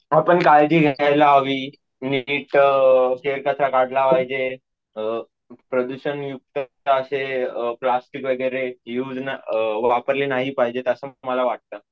आपण काळजी घ्यायला हवी, नीट अम केर कसा काढला पाहिजे, अम प्रदूषण युक्त प्लास्टिक वगैरे असे युस न वापरले नाही पाहिजे असं मला वाटत